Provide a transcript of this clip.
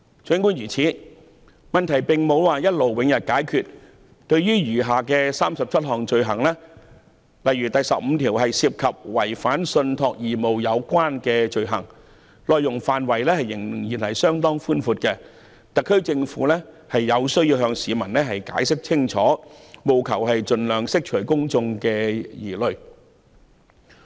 儘管如此，這個問題並無一勞永逸的解決方法，對於餘下37項罪類，例如第15項涉及違反信託義務的罪行，範圍仍然相當廣泛，特區政府有需要向市民解釋清楚，盡量釋除公眾疑慮。